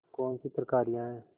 कौनसी तरकारियॉँ हैं